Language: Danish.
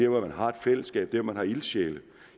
hvor man har et fællesskab der hvor man har ildsjæle